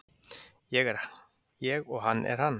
Ég er ég og hann er hann